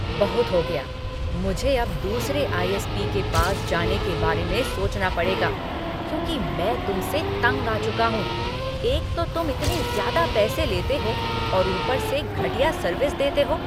बहुत हो गया, मुझे अब दूसरे आई.एस.पी. के पास जाने के बारे में सोचना पड़ेगा, क्योंकि मैं तुमसे तंग आ चुका हूँ, एक तो तुम इतने ज़्यादा पैसे लेते हो और ऊपर से घटिया सर्विस देते हो।